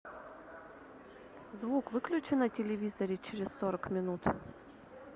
звук выключи на телевизоре через сорок минут